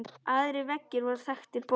Aðrir veggir voru þaktir bókum.